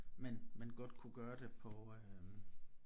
Man man godt kunne gøre det på øh